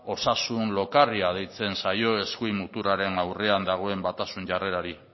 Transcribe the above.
osasun lokarria deitzen zaio eskuin muturraren aurrean dagoen batasun jarrerari